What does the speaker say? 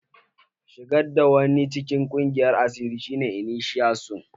Shigar da wani cikin ƙungiyar asiri shi ne iniciasun.